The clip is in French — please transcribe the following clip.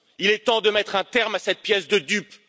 Il est temps de mettre un terme à cette pièce de dupes.